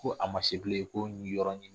Ko a ma se bilen ko n k'i yɔrɔ ɲini